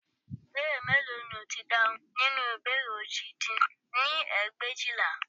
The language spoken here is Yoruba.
Ìbéèrè mélòó ni ó ti dáhùn nínú ìbéèrè òjì dín ní ẹgbẹ̀éjìlá